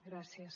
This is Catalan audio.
gràcies